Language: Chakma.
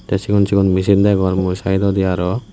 tey cigon cigon messin degongor mui saidodi aro.